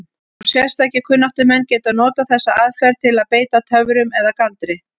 Og sérstakir kunnáttumenn geta notað þessa aðferð til að beita töfrum eða galdri.